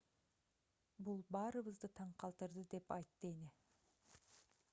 бул баарыбызды таң калтырды деп айтты эне